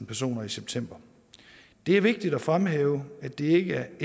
personer i september det er vigtigt at fremhæve at det ikke